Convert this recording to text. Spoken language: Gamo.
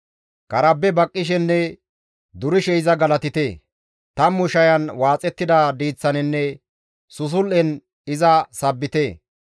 Karabe baqqishenne durishe iza galatite; tammu shayan waaxettida diiththaninne susul7en iza sabbite.